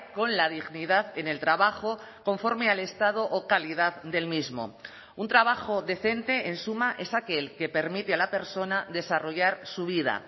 con la dignidad en el trabajo conforme al estado o calidad del mismo un trabajo decente en suma es aquel que permite a la persona desarrollar su vida